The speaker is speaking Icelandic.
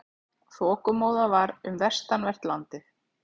Þokumóða um vestanvert landið